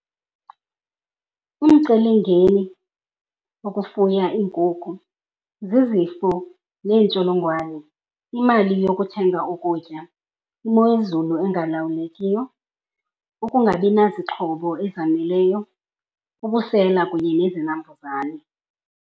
Umcelingeni wokufuya iinkukhu zizifo neentsholongwane, imali yokuthenga ukutya, imo yezulu engalawulekiyo, ukungabi nazixhobo ezaneleyo, ubusela kunye nezinambuzane.